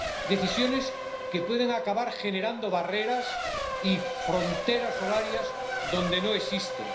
decisiones que pueden acabar generando barreras y fronteras horarias donde no existen.